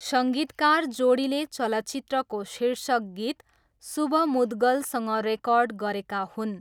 सङ्गीतकार जोडीले चलचित्रको शीर्षक गीत शुभ मुद्गलसँग रेकर्ड गरेका हुन्।